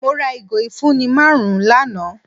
Mọ̀ rà igo ifunni màrùn lánà.